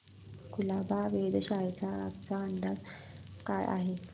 कुलाबा वेधशाळेचा आजचा अंदाज काय आहे